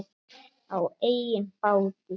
Á eigin báti.